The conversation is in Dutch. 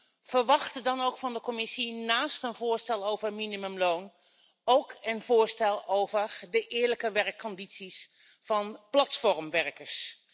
Ik verwachtte dan ook van de Commissie naast een voorstel over minimumloon ook een voorstel over de eerlijke werkomstandigheden van platformwerkers.